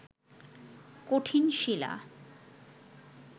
কঠিন শিলা